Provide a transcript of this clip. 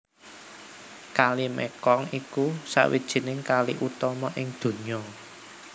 Kali Mekong iku sawijining kali utama ing donya